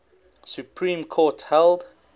supreme court held